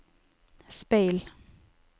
speil